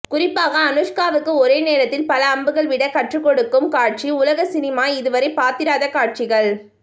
குறிப்பாக அனுஷ்காவுக்கு ஒரே நேரத்தில் பல அம்புகள் விட கற்றுக்கொடுக்கும் காட்சி உலக சினிமா இதுவரை பார்த்திராத காட்சிகள்